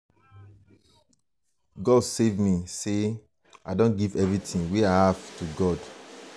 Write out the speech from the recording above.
god save me say say i don give everything wey i have to god